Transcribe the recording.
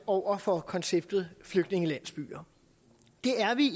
over for konceptet flygtningelandsbyer det er vi